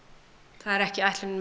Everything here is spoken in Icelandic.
það er ekki ætlunin með